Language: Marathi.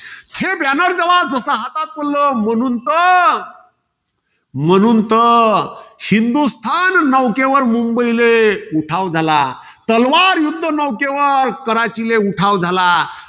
जसं हातात पडलं. म्हणून तर म्हणून तर, हिंदुस्थान नौकेवर मुंबईले उठाव झाला. तलवार युध्द नौकेवर काराचीले उठाव झाला.